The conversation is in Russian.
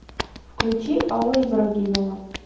включи алла ибрагимова